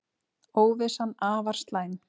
Óvissan afar slæm